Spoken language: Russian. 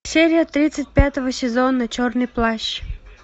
серия тридцать пятого сезона черный плащ